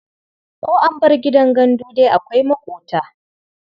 Ko an bar gidan gandu dai akwai maƙota.